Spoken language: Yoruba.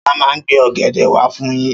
Ṣọlá máa gbé ọ̀gẹ̀dẹ̀ wá fún yín.